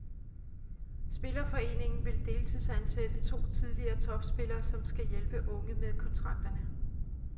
Spillerforeningen vil deltidsansætte to tidligere topspillere, som skal hjælpe unge med kontrakterne.